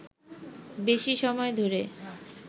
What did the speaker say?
বেশি সময় ধরে